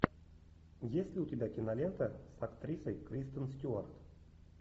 есть ли у тебя кинолента с актрисой кристен стюарт